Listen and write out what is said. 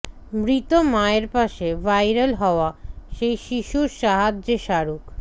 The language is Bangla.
মৃত মায়ের পাশে ভাইরাল হওয়া সেই শিশুর সাহায্যে শাহরুখ